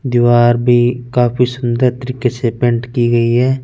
दिवार भी काफी सुन्दर तरीके से पेंट की गयी है।